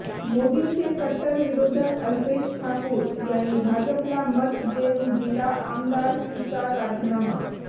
मोदींचे कट्टर विरोधक अल्पेश ठाकूर यांनी भाजपला मत देऊन दिला आमदारकीचा राजीनामा